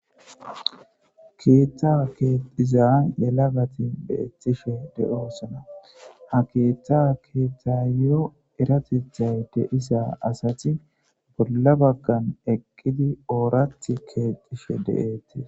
Keeththa keexxiza yelagathi beeththishe de7oosona; ha keeththaa keexxaayyoo eratheththay de7iza asathi bolla baggan wqqidi ooraththi keexxishe de7eeththes.